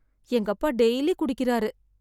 எங்க அப்பா டெய்லி குடிக்கிறாரு.